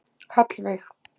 Hallveig